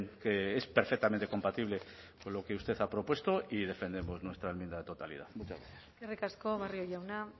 que es perfectamente compatible con lo que usted ha propuesto y defendemos nuestra enmienda de totalidad muchas gracias eskerrik asko barrio jauna